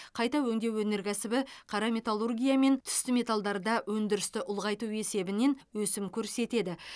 қайта өңдеу өнеркәсібі қара металургия мен түсті металдарда өндірісті ұлғайту есебінен өсім көрсетеді